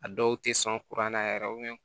A dɔw tɛ sɔn kuran na yɛrɛ